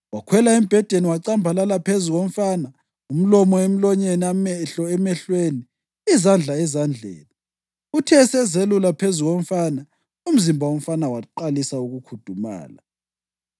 Wakhwela embhedeni wacambalala phezu komfana, umlomo emlonyeni, amehlo emehlweni, izandla ezandleni. Uthe esazelula phezu komfana, umzimba womfana waqalisa ukukhudumala.